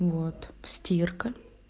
вот стирка